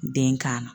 Den kan na